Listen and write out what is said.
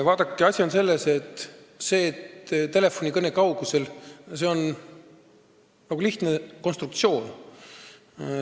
Vaadake, asi on selles, et see "telefonikõne kaugusel" on lihtne konstruktsioon.